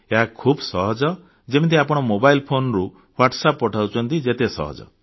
ଏହା ଖୁବ ସହଜ ଯେମିତି ଆପଣ ମୋବାଇଲ ଫୋନରୁ WhatsApp ମେସେଜ ପଠାଉଛନ୍ତି ବହୁତ ସହଜ